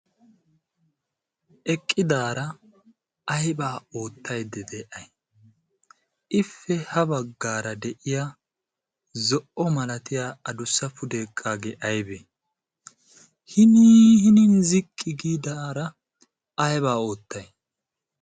eqqidaara aibaa oottayde de'ay ipe ha baggaara de'iya zo''o malatiya adussa fudee eqaagee aybee hinin ziqqi giidaara aybaa oottai